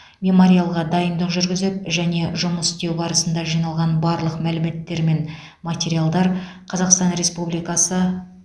мемориалға дайындық жүргізіп және жұмыс істеу барысында жиналған барлық мәліметтер мен материалдар қазақстан республикасы